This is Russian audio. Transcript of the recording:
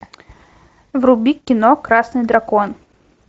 вруби кино красный дракон